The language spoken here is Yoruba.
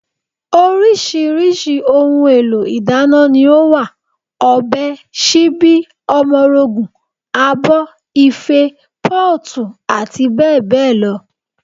Oríṣiríṣi ohun èlò ìdáná ni ó wà: ọ̀bẹ, síbí, omorogùn, abọ́, Ife, pọ́ọ̀tù, àti bẹ́ẹ̀ bẹ́ẹ̀ lọ